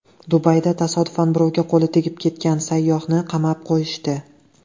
Dubayda tasodifan birovga qo‘li tegib ketgan sayyohni qamab qo‘yishdi.